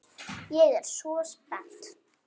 Ég er svo spennt.